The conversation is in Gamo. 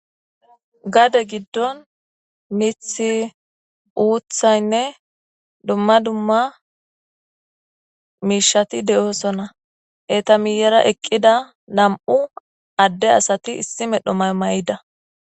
Gade giddon mithi uuthaynne dumma dumma miishati de7oosona etamiyera eqqida nam7u adde asati issi medho mamay7ida